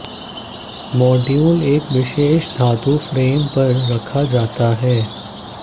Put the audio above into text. module एक विशेष धातु फ्रेम पर रखा जाता है